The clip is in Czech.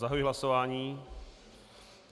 Zahajuji hlasování.